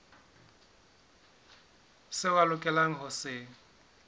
seo a lokelang ho se